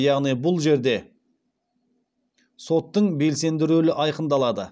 яғни бұл жерде соттың белсенді рөлі айқындалады